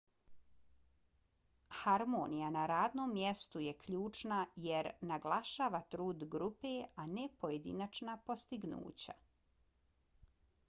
harmonija na radnom mjestu je ključna jer naglašava trud grupe a ne pojedinačna postignuća